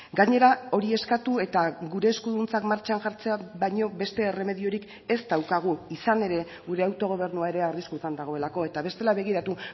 gainera hori eskatu eta gure eskuduntzak martxan jartzea baino beste erremediorik ez daukagu izan ere gure autogobernua ere arriskutan dagoelako eta bestela begiratu